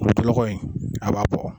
a b'a fɔ